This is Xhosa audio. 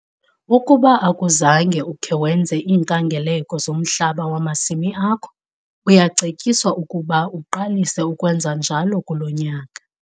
Ukuba akuzange ukhe wenze iinkangeleko zomhlaba wamasimi akho, uyacetyiswa ukuba uqalise ukwenza njalo kulo nyaka.